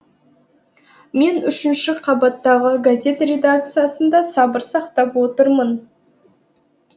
мен үшінші қабаттағы газет редакциясында сабыр сақтап отырмын